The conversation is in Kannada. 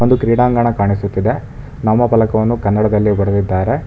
ಒಂದು ಕ್ರೀಡಾಂಗಣ ಕಾಣಿಸುತ್ತದೆ ನಾಮಫಲಕವನ್ನು ಕನ್ನಡದಲ್ಲಿ ಬರೆದಿದ್ದಾರೆ.